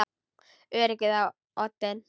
Öryggið á oddinn!